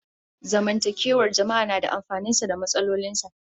Zamantakewar jama'a na da amfanin sa da matsalolin sa